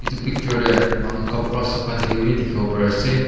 Etu picture dae manu kapra sukhai thakya bhi dekhivo pariase.